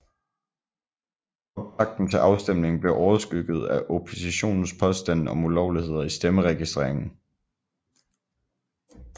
Optakten til afstemningen blev overskygget af oppositionens påstande om ulovligheder i stemmeregistreringen